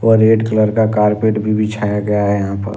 वह red colour का carpet भी बिछाया गया है यहां पर--